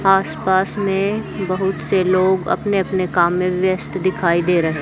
आसपास में बहुत से लोग अपने अपने काम में व्यस्त दिखाई दे रहे--